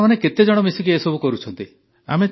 ଆପଣମାନେ କେତେ ଜଣ ସାଙ୍ଗ ମିଶିକି ଏସବୁ କରୁଛନ୍ତି